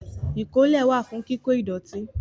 Ìkólẹ̀ wà fún kíkó ìdọ̀tí